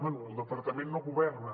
bé el departament no governa